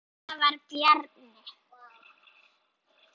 Svona var Bjarni.